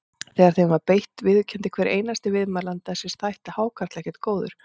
Þegar þeim var beitt viðurkenndi hver einasti viðmælandi að sér þætti hákarl ekkert góður.